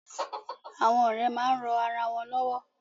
Àwọn ọ̀rẹ́ máa ń ran ara wọn lọ́wọ́.